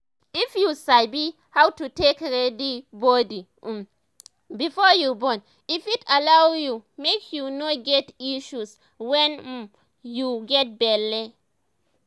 if you sabi how to take ready body um before you born e fit allow u make you no get issues wen um u get belle